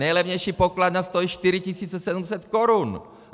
Nejlevnější pokladna stojí 4 700 korun!